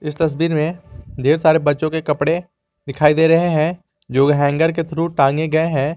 इस तस्वीर में ढेर सारे बच्चों के कपड़े दिखाई दे रहे हैं जो हैंगर के थ्रू टांगे गए हैं।